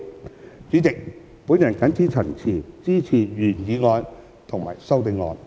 代理主席，我謹此陳辭，支持原議案及修正案。